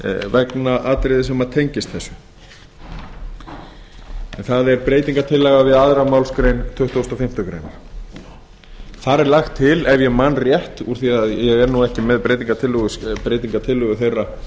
vegna atriða sem tengist þessu en það er breytingartillaga við aðra málsgrein tuttugustu og fimmtu grein þar er lagt til ef ég man rétt úr því að ég er ekki með breytingartillögu þeirra